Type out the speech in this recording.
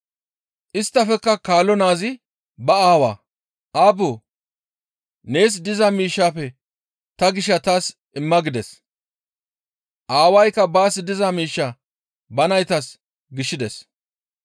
Isttafekka kaalo naazi ba aawaa, ‹Aabboo! Nees diza miishshaafe ta gishaa taas imma› gides. Aawaykka baas diza miishshaa ba naytas gishides.